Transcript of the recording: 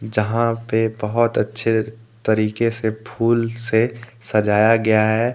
यहां पे बहुत अच्छे तरीके से फूल से सजाया गया है।